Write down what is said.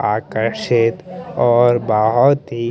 आकर्षित और बहुत ही --